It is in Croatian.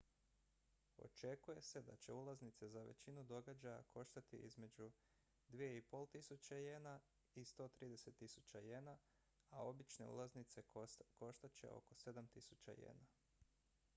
očekuje se da će ulaznice za većinu događaja koštati između 2.500 ¥ i 130.000 ¥ a obične ulaznice koštat će oko 7.000 ¥